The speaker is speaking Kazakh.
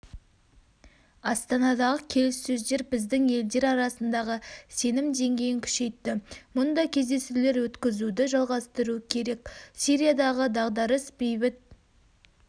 астанадағы келіссөздер біздің елдер арасындағы сенім деңгейін күшейтті мұндай кездесулер өткізуді жалғастыру керек сириядағы дағдарыс бейбіт